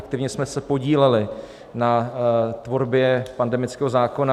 Aktivně jsme se podíleli na tvorbě pandemického zákona.